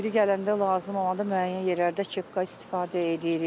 Yeri gələndə, lazım olanda müəyyən yerlərdə kepka istifadə eləyirik.